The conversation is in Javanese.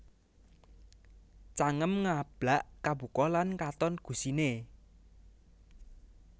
Cangem Ngablak Kabuka lan katon gusiné